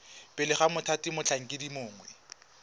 pele ga mothati motlhankedi mongwe